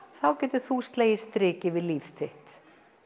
þá getur þú slegið striki yfir líf þitt